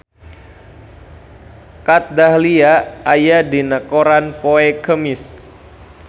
Kat Dahlia aya dina koran poe Kemis